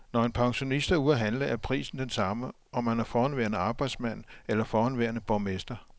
Når en pensionist er ude at handle, er prisen den samme, om han er forhenværende arbejdsmand eller forhenværende borgmester.